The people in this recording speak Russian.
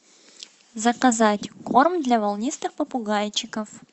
заказать корм для волнистых попугайчиков